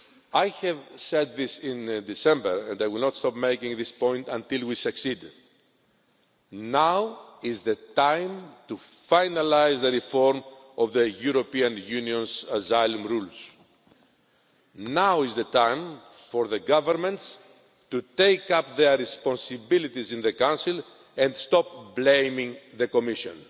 I said this in December, and I will not stop making this point until we succeed now is the time to finalise the reform of the European Union's asylum rules, now is the time for the governments to take up their responsibilities in the Council and stop blaming the Commission.